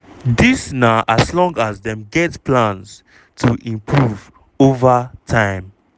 dis na as long as dem get plans to improve over time.